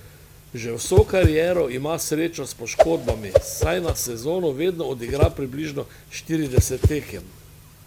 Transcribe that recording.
Že vso kariero ima srečo s poškodbami, saj na sezono vedno odigra približno štirideset tekem.